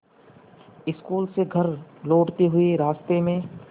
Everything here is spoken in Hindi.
स्कूल से घर लौटते हुए रास्ते में